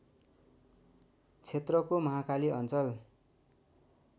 क्षेत्रको महाकाली अञ्चल